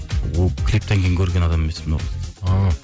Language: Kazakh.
клиптен кейін көрген адам емеспін ол қызды а